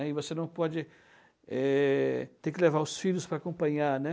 E você não pode, eh... Tem que levar os filhos para acompanhar, né?